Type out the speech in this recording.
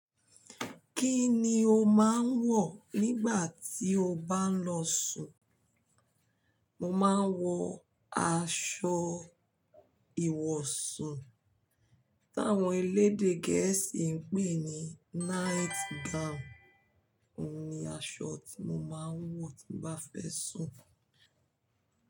Kí ni o máa ń wọ̀ nígbà tí o bá ń lọ sùn? Mo máa ń wọ aṣọ ìwọ̀sùn, tí àwọn elédè Gẹ̀ẹ́sì ń pè ní night gown. Oun ní aṣọ tí mo máa ń wọ̀ tí mo bá fẹ́ sùn.